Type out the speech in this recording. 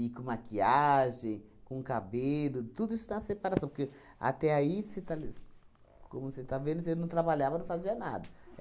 e com maquiagem, com cabelo, tudo isso na separação, porque até aí você está le como você está vendo, você não trabalhava, não fazia nada.